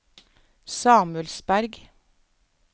Samuelsberg